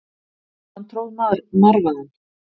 Hann tróð marvaðann.